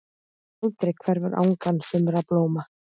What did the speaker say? Aldrei hverfur angan sumra blóma.